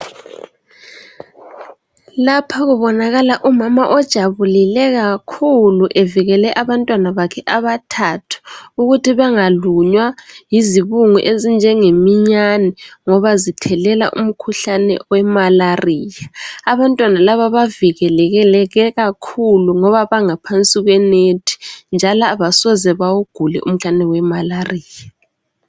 Lapha kubonakala umama ojabulile kakhulu, evikele abantwana bakhe abathathu ukuthi bengalunywa yizibungu ezinjenge minyane ngoba zithelela umkhuhlane we malaria. Abantwana laba bavikeleke kakhulu ngoba bangaphansi kwenet njalo abasoze bawugule umkhuhlane wemalaria.